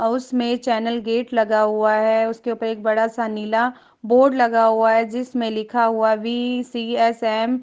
अ उसमे channel gate लगा हुआ हैं उसके ऊपर एक बड़ा-सा नीला बोर्ड लगा हुआ हैं जिसमे लिखा हुआ हैं वि.सी.एस.एम. --